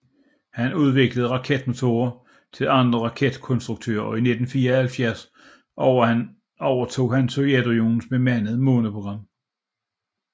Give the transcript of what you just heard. Han udviklede raketmotorer til andre raketkonstruktører og i 1974 overtog han Sovjetunionens bemandede måneprogram